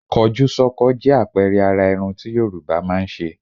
Kọjúsọ́kọ jẹ́ àpẹẹrẹ àrà irun tí Yorùbá máa ń ṣe.